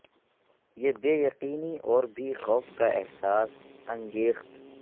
یہ بے یقینی اور بھی خوف کا احساس انگیخت